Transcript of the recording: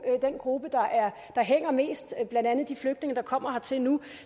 gruppe der hænger mest blandt andet de flygtninge der kommer hertil nu